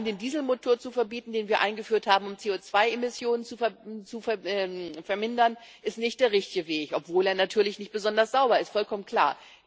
Allein den Dieselmotor zu verbieten, den wir eingeführt haben, um CO2 Emissionen zu vermindern, ist nicht der richtige Weg, obwohl er natürlich nicht besonders sauber ist vollkommen klar.